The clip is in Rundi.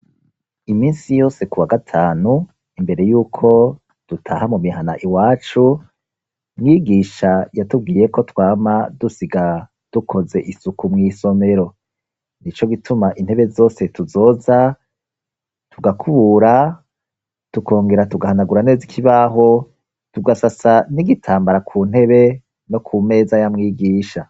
Iminsi yose ku wa gatanu imbere yuko dutaha mu mihana iwacu mwigisha yatubwiye ko twama dusiga dukoze isuku mw'isomero ni co gituma intebe zose tuzoza tugakubura tukongera tugahanagura neza ikibaho tugasasa n'igitambara ku ntebe no ku meza ya mwigisha.